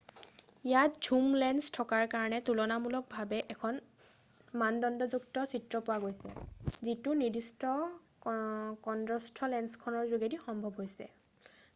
ইয়াত zoom lens থকাৰ কাৰণে তুলনামূলভাৱে এখন মানদণ্ডযুক্ত চিত্ৰ পোৱা গৈছে যিটো নিৰ্দিষ্ট কন্দ্ৰস্থ লেন্সখনৰ যোগেদি সম্ভৱ হৈছে